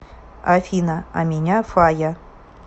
афина а меня фая